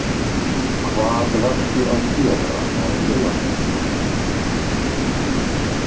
Hvað varstu að gera á laugardagskvöld?